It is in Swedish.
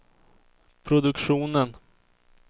produktionen